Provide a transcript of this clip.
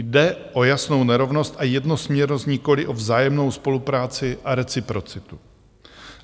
Jde o jasnou nerovnost a jednosměrnost, nikoli o vzájemnou spolupráci a reciprocitu.